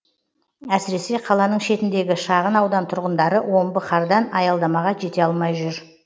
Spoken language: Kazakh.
әсіресе қаланың шетіндегі шағын аудан тұрғындары омбы қардан аялдамаға жете алмай жүр